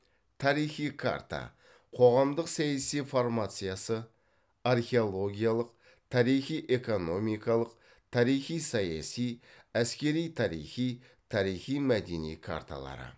тарихи карта қоғамдық саяси формациясы археологиялық тарихи экономикалық тарихи саяси әскери тарихи тарихи мәдени карталары